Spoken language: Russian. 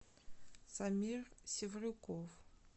самир севрюков